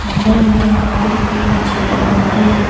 अंदर में कारपेट भी बिछाया हुआ है।